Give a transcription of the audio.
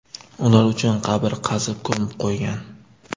Ular uchun qabr qazib ko‘mib qo‘ygan.